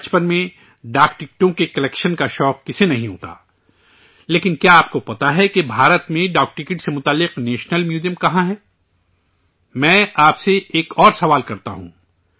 بچپن میں ڈاک ٹکٹ جمع کرنے کا شوق کسے نہیں ہوتا! لیکن، کیا آپ کو معلوم ہے کہ بھارت میں ڈاک ٹکٹ سے جڑا نیشنل میوزیم کہاں ہے؟ میں آپ سے ایک اور سوال کرتا ہوں